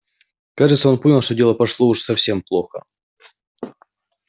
кажется он понял что дело пошло уж совсем плохо